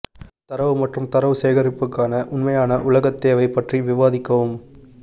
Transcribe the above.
தரவு மற்றும் தரவு சேகரிப்புக்கான உண்மையான உலகத் தேவை பற்றி விவாதிக்கவும்